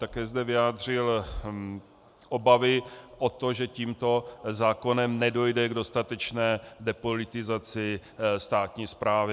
Také zde vyjádřil obavy o to, že tímto zákonem nedojde k dostatečné depolitizaci státní správy.